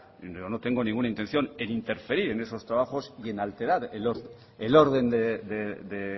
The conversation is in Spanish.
yo no tengo ninguna intención en interferir en esos trabajos y en alterar el orden de